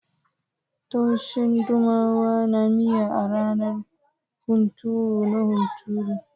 Tushen dumama na miya a ranar hunturu na hunturu.